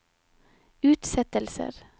utsettelser